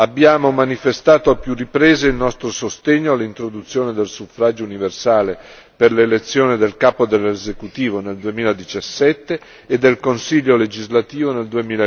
Abbiamo manifestato a più riprese il nostro sostegno all'introduzione del suffragio universale per l'elezione del capo dell'esecutivo nel 2017 e del Consiglio legislativo nel